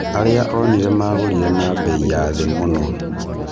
Arĩa onire magũrire na bei ya thĩ mũno.